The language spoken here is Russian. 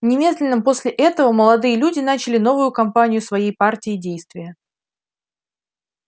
немедленно после этого молодые люди начали новую кампанию своей партии действия